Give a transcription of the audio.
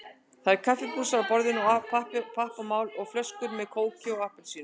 Það eru kaffibrúsar á borðinu, pappamál og flöskur með kóki og appelsíni.